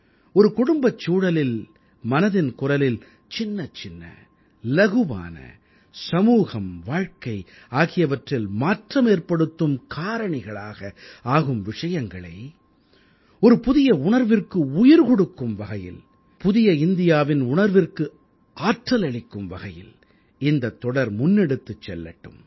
ஒரு குடும்பச்சூழலில் மனதின் குரலில் சின்னச் சின்ன இலகுவான சமூகம் வாழ்க்கை ஆகியவற்றில் மாற்றமேற்படுத்தும் காரணிகளாக ஆகும் விஷயங்களை ஒரு புதிய உணர்விற்கு உயிர் கொடுக்கும் வகையில் புதிய இந்தியாவின் உணர்விற்கு ஆற்றல் அளிக்கும் வகையில் இந்தத் தொடர் முன்னெடுத்துச் செல்லட்டும்